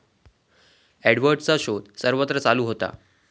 एडवर्डचा शोध सर्वत्र चालू होता.